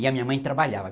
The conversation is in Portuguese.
E a minha mãe trabalhava